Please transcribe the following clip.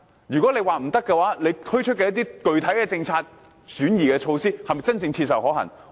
如果政府說不行，政府推出的一些具體政策措施，是否真正切實可行？